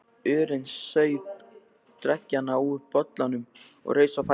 urinn, saup dreggjarnar úr bollanum og reis á fætur.